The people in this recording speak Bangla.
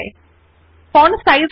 একই পদ্ধতিত়ে ফন্ট সাইজ বড় করা যায়